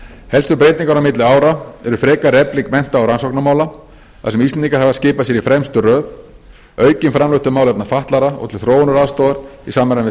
helstu breytingar á milli ára er frekari efling mennta og rannsóknarmála þar sem íslendingar hafa skipað sér í fremstu röð aukin framlög til málefna fatlaðra og til þróunaraðstoðar í samræmi